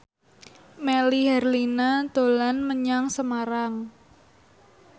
Melly Herlina dolan menyang Semarang